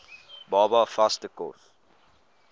baba vaste kos